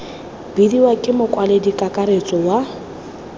bidiwa ke mokwaledi kakaretso wa